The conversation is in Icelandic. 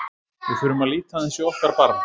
Við þurfum að líta aðeins í okkar barm.